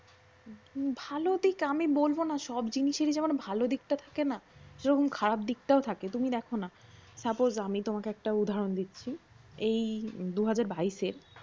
ভাল দিন আমি বলবো না সব জিনিসেরি যেমন ভালো দিকটা থাকে না সেরকম খারাপ দিক্তাও থাকে। তুমিদেখ না suppose একটা উদাহরণ দিচ্ছি এই দুহাজার বাইশের